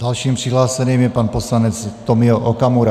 Dalším přihlášeným je pan poslanec Tomio Okamura.